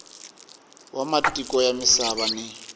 wa matiko ya misava ni